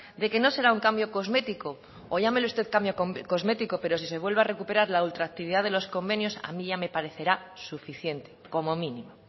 de que no será un cambio cosmético o llámele usted cambio cosmético pero si se vuelve a recuperar la ultraactividad de los convenios a mí ya me parecerá suficiente como mínimo